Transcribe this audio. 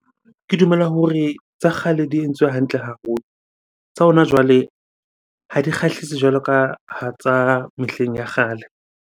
Ke dumela hore tsa kgale di entswe hantle haholo. Tsa hona jwale ha di kgahlise jwalo ka tsa mehleng ya kgale.